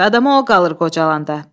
Adama o qalır qocalandan.